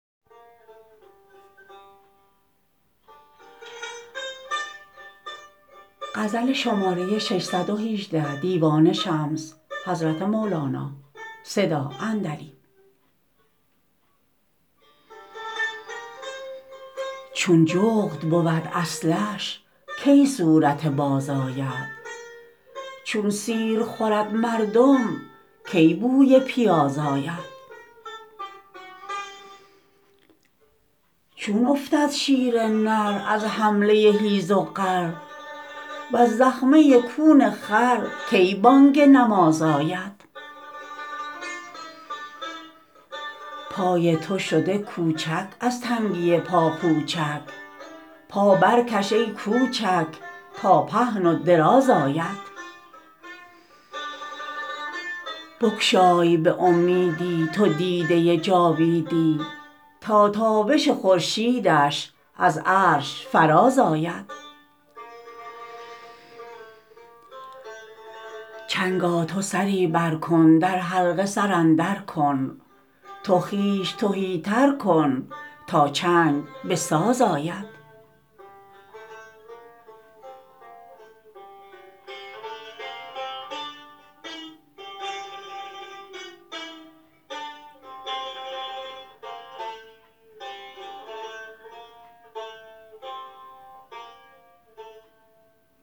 چون جغد بود اصلش کی صورت باز آید چون سیر خورد مردم کی بوی پیاز آید چون افتد شیر نر از حمله حیز و غر وز زخمه کون خر کی بانگ نماز آید پای تو شده کوچک از تنگی پاپوچک پا برکش ای کوچک تا پهن و دراز آید بگشای به امیدی تو دیده جاویدی تا تابش خورشیدش از عرش فراز آید چنگا تو سری بر کن در حلقه سر اندر کن تو خویش تهی تر کن تا چنگ به ساز آید